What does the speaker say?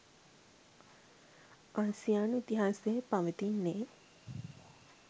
ආසියානු ඉතිහාසයේ පවතින්නේ